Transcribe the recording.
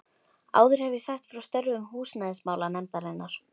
Áður hef ég sagt frá störfum húsnæðismála- nefndarinnar.